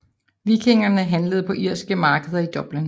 Vikingerne handlede på irske markeder i Dublin